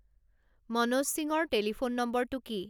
মনোজ সিংৰ টেলিফোন নম্বৰটো কি